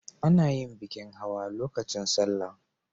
A na yin bikin hawa lokacin salla